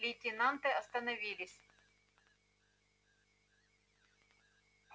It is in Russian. лейтенанты остановились